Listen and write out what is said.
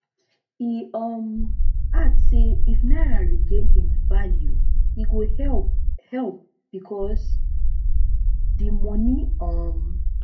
e um add say if naira regain im value e go help help becos di money um